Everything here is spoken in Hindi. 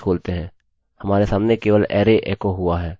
हमारे सामने केवल array एको हुआ है